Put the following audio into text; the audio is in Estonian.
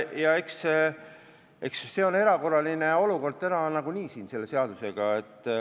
Ja eks see ole erakorraline olukord täna nagunii siin selle eelnõuga.